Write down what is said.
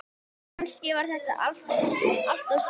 Kannski var það allt og sumt.